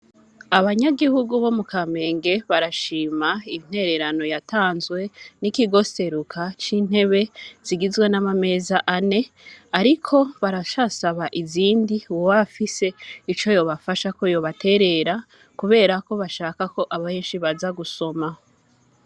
Abanyagihugu bo mu kamenge barashima intererano yatanzwe n'ikigoseruka c'intebe zigizwe n'amameza ane, ariko barashasaba izindi wowafise ico yobafasha ko yobaterera, kubera ko bashakako abenshi baza gusomaho.